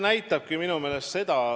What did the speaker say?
Aitäh!